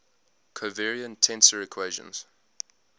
covariant tensor equations